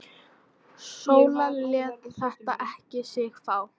Sóla lét þetta ekki á sig fá.